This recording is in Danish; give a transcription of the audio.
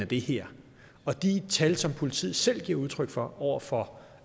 det her og de tal som politiet selv giver udtryk for over for